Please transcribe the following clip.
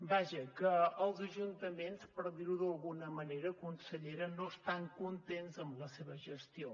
vaja que els ajuntaments per dir ho d’alguna manera consellera no estan contents amb la seva gestió